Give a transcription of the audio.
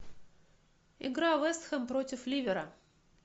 игра вест хэм против ливера